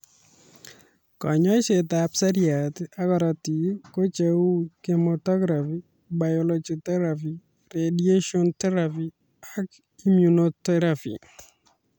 Konyoiset ab seriat ab korotik ko cheu chemotherapy, biological therapy, radiation therapy ak immunotherapy